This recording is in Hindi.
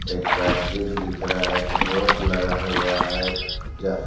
एक बैटरी दिख रहा है एक बोर्ड लगा हुआ है एक जा--